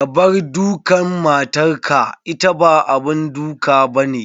Kabar dukan matar ka, ita ba abun duk abane.